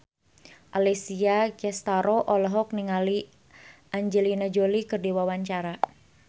Alessia Cestaro olohok ningali Angelina Jolie keur diwawancara